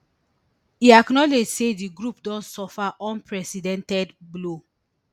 e acknowledge say di group don suffer unprecedented blow